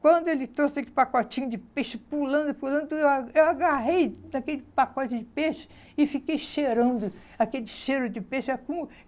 Quando ele trouxe aquele pacotinho de peixe pulando e pulando, eu a eu agarrei daquele pacote de peixe e fiquei cheirando aquele cheiro de peixe.